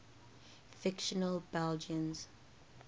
fictional belgians